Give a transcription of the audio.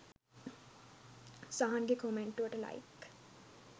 සහන්ගෙ කොමෙන්ටුවට ලැයික්